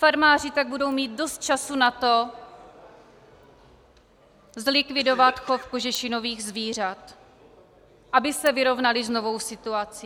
Farmáři tak budou mít dost času na to zlikvidovat chov kožešinových zvířat, aby se vyrovnali s novou situací.